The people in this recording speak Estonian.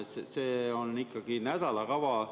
See on ikkagi nädalakava.